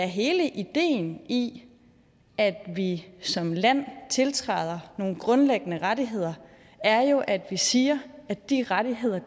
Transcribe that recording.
hele ideen i at vi som land tiltræder nogle grundlæggende rettigheder er jo at vi siger at de rettigheder